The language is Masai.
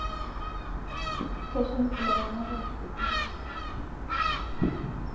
Keshum ilaramatak ilanterera too ishoritin napuoni